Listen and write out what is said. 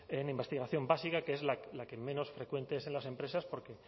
en investigación básica que es la que menos frecuente es en las empresas porque